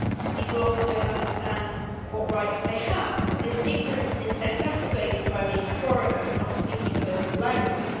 People often do not understand what rights they have, and this ignorance is exacerbated by being a foreigner and not speaking the local language.